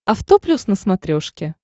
авто плюс на смотрешке